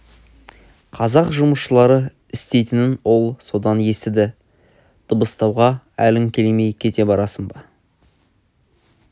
қазақ жұмысшылары істейтінін ол содан естіді дыбыстауға әлің келмей кете барасың ба